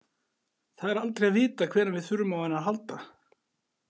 Það er aldrei að vita hvenær við þurfum á henni að halda.